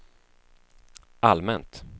allmänt